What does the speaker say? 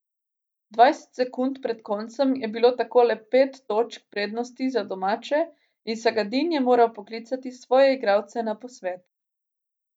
Dvajset sekund pred koncem je bilo tako le pet točk prednosti za domače in Sagadin je moral poklicati svoje igralce na posvet.